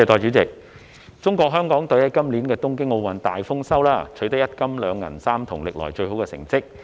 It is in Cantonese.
代理主席，中國香港隊在今年東京奧運會大豐收，取得—金、二銀、三銅，是歷來最好的成績。